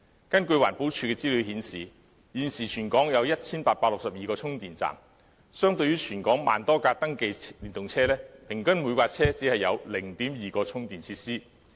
根據環境保護署的資料顯示，現時全港有 1,862 個充電站，相對於全港1萬多輛登記電動車，平均每輛車只有 0.2 個充電設施。